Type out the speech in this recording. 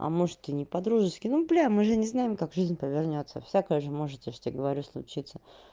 а может и не по-дружески ну бля мы же не знаем как жизнь повернётся всякое же может я ж тебе говорю случится